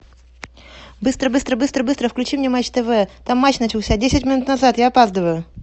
быстро быстро быстро быстро включи мне матч тв там матч начался десять минут назад я опаздываю